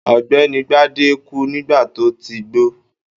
Ọ̀gbẹ́ni Gbadé kú nígbà tó ti gbó.